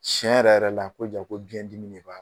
Tiɲɛ yɛrɛ yɛrɛ la ko ja ko biɲɛ dimi de b'a la.